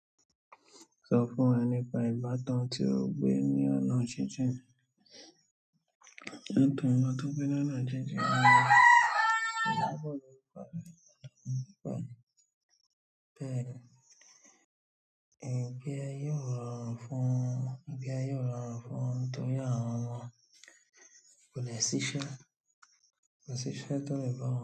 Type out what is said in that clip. Sọ fún wa nípa ìbátan tí ó gbé ní ọ̀nà jíjìn. Nítorí ọtún pé ní ọ̀nà jíjìn, ọ̀dọ́bọ̀ ló ń padà nìkan. Bẹ́ẹ̀ ni, ìgbé ayé rọrùn fún, ìgbé ayé o rọrùn fún tó yá àwọn ọmọ. Kò dẹ̀ ṣiṣẹ́, kò ní ṣiṣẹ́ tó lè bá wọn jẹ.